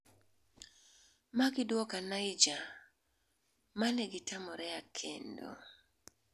ma giduoka Niger ma negitamorea kendo